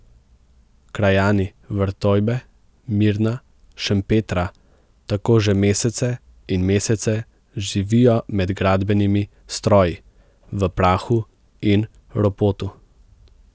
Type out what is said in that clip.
Krajani Vrtojbe, Mirna, Šempetra tako že mesece in mesece živijo med gradbenimi stroji, v prahu in ropotu.